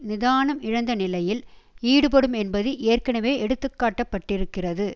நிதானம் இழந்த நிலையில் ஈடுபடும் என்பது ஏற்கனவே எடுத்துக்காட்டப்பட்டிருக்கிறது